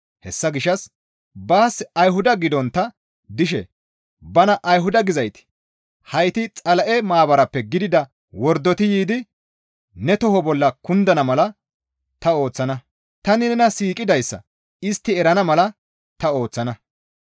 Hessa gishshas baas Ayhuda gidontta dishe bana Ayhuda gizayti heyti Xala7e maabarappe gidida wordoti yiidi ne toho bolla kundana mala ta ooththana; tani nena siiqidayssa istti erana mala ta ooththana.